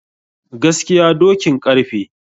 Gaskiya dokin karfe.